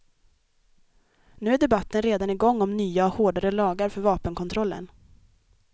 Nu är debatten redan i gång om nya och hårdare lagar för vapenkontrollen.